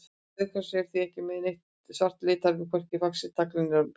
Rauð hross eru því ekki með neitt svart litarefni, hvorki í faxi, tagli né bol.